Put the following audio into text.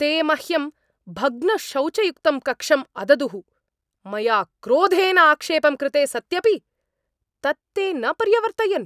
ते मह्यं भग्नशौचयुक्तं कक्षम् अददुः, मया क्रोधेन आक्षेपं कृते सत्यपि, तत् ते न पर्यवर्तयन्।